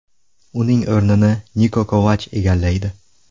Uning o‘rnini Niko Kovach egallaydi.